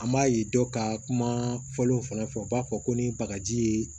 An b'a ye dɔ ka kuma fɔlaw fana fɛ u b'a fɔ ko ni bagaji ye